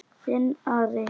Þinn Ari.